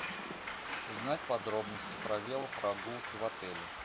узнать подробности про велопрогулки в отеле